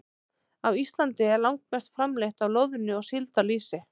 Á Íslandi er langmest framleitt af loðnu- og síldarlýsi.